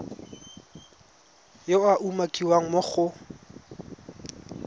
yo a umakiwang mo go